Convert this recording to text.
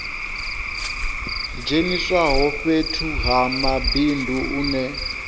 dzheniswaho fhethu ha mabindu une